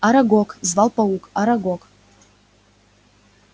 арагог звал паук арагог